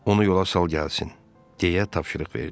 Onu yola sal gəlsin, deyə tapşırıq verdi.